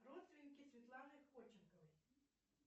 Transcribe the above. родственники светланы ходченковой